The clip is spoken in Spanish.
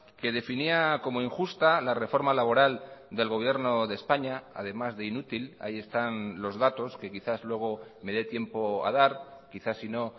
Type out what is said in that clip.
que definía como injusta la reforma laboral del gobierno de españa además de inútil ahí están los datos que quizás luego me dé tiempo a dar quizás sino